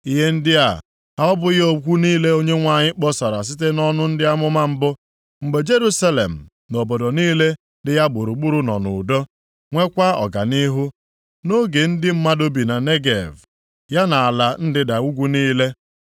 Ihe ndị a ha ọ bụghị okwu niile Onyenwe anyị kpọsara site nʼọnụ ndị amụma mbụ, mgbe Jerusalem na obodo niile dị ya gburugburu nọ nʼudo + 7:7 Ya bụ, ndị Jụụ nwekwa ọganihu, nʼoge ndị mmadụ bi na Negev, ya na ala ndịda ugwu niile?’ ”